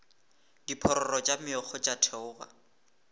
diphororo tša meokgo tša theoga